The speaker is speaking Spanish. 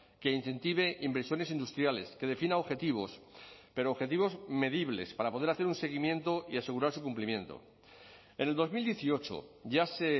que incentive inversiones industriales que defina objetivos pero objetivos medibles para poder hacer un seguimiento y asegurar su cumplimiento en el dos mil dieciocho ya se